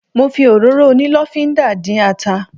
Mo fi òróró onílọ́fínńdà dín ata.